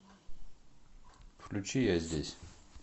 включи я здесь